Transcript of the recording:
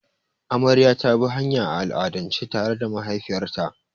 Amarya ta bi hanya, a al'adance tare da mahaifiyarta.